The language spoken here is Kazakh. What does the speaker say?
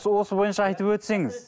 осы бойынша айтып өтсеңіз